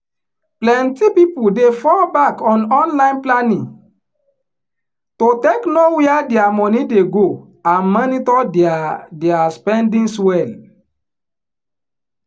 plenty people dey fall back on online planning to take know wia dia money dey go and monitor dia dia spendings well